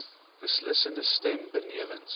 beslissende stem benewens